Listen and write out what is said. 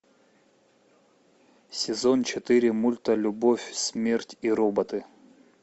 сезон четыре мульта любовь смерть и роботы